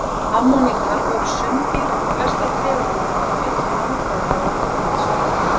Ammonítar voru sunddýr og flestar tegundirnar með mikla landfræðilega útbreiðslu.